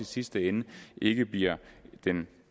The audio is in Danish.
sidste ende ikke bliver en